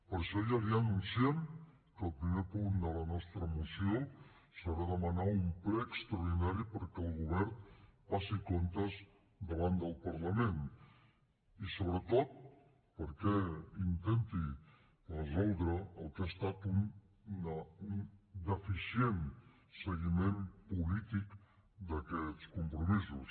per això ja li anunciem que el primer punt de la nostra moció serà demanar un ple extraordinari perquè el govern passi comptes davant del parlament i sobretot perquè intenti resoldre el que ha estat un deficient seguiment polític d’aquests compromisos